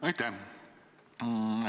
Aitäh!